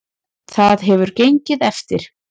Það hefur gengið eftir.